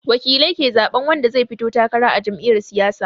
Wakilai ke zaɓan wanda zai fito takara a jam'iya siyasa